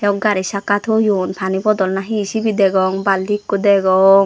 gari cakka toyon pani bodol na he sibe degong balti ekko degong.